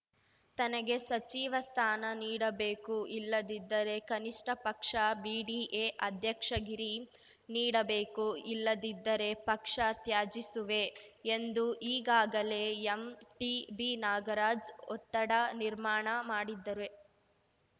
ತನಗೆ ಸಚಿವ ಸ್ಥಾನ ನೀಡಬೇಕು ಇಲ್ಲದಿದ್ದರೆ ಕನಿಷ್ಠ ಪಕ್ಷ ಬಿಡಿಎ ಅಧ್ಯಕ್ಷಗಿರಿ ನೀಡಬೇಕು ಇಲ್ಲದಿದ್ದರೆ ಪಕ್ಷ ತ್ಯಜಿಸುವೆ ಎಂದು ಈಗಾಗಲೇ ಎಂಟಿಬಿನಾಗರಾಜ್‌ ಒತ್ತಡ ನಿರ್ಮಾಣ ಮಾಡಿದ್ದರೆ